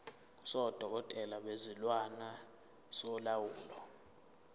sodokotela bezilwane solawulo